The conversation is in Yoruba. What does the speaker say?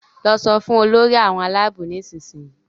lọ so fún Olórí àwọn Àlàabò nísìsiyìí!